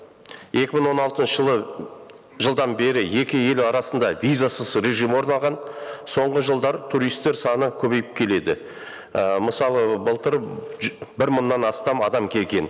екі мың он алтыншы жылы жылдан бері екі ел арасында визасыз режим орналған соңғы жылдары туристтер саны көбейіп келеді і мысалы былтыр бір мыңнан астам адам келген